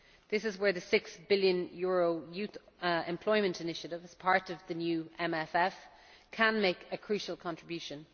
This is where the EUR 6 billion Youth Employment Initiative, as part of the new MFF, can make a crucial contribution.